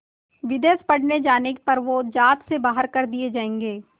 विदेश पढ़ने जाने पर वो ज़ात से बाहर कर दिए जाएंगे